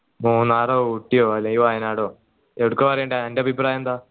മൂന്നാറോ ഊട്ടിയോ അല്ല വായനാടോ ഏടുക പറയണ്ടേ അൻറെ അഭിപ്രായം എന്താ